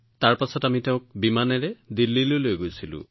তাৰ পিছত আমি তেওঁক বিমানেৰে এইমছ দিল্লীলৈ লৈ আহিছিলো